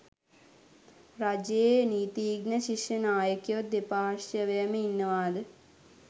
රජයේ නීතිඥ ශිෂ්‍ය නායකයෝ දෙපාර්ශ්වයම ඉන්නවාද?